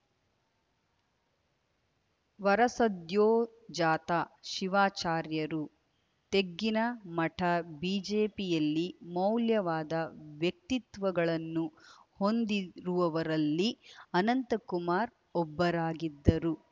ವರಸದ್ಯೋಜಾತ ಶಿವಾಚಾರ್ಯರು ತೆಗ್ಗಿನಮಠ ಬಿಜೆಪಿಯಲ್ಲಿ ಮೌಲ್ಯವಾದ ವ್ಯಕ್ತಿತ್ವಗಳನ್ನು ಹೊಂದಿರುವವರಲ್ಲಿ ಅನಂತಕುಮಾರ್‌ ಒಬ್ಬರಾಗಿದ್ದರು